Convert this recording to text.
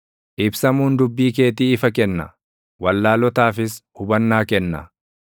Ibsamuun dubbii keetii ifa kenna; wallaalotaafis hubannaa kenna.